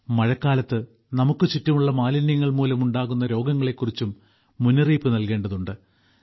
മഴക്കാലത്ത് നമുക്ക് ചുറ്റുമുള്ള മാലിന്യങ്ങൾ മൂലമുണ്ടാകുന്ന രോഗങ്ങളെക്കുറിച്ചും മുന്നറിയിപ്പ് നൽകേണ്ടതുണ്ട്